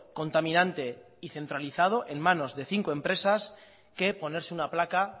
contaminante y centralizado en manos de cinco empresas que ponerse una placa